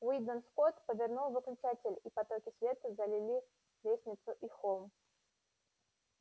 уидон скотт повернул выключатель и потоки света залили лестницу и холл